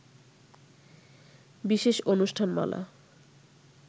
বিশেষ অনুষ্ঠান মালা